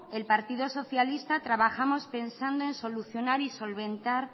el partido socialista trabajamos pensando en solucionar y solventar